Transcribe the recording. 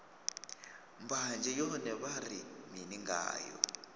mbanzhe yone vha ri mini ngayo